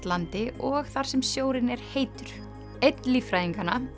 landi og þar sem sjórinn er heitur ein